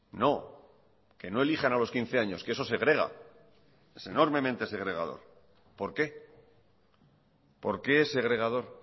no que no elijan a los quince años que eso segrega es enormemente segregador por qué por qué es segregador